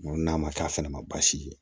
n'a ma k'a fana ma baasi ye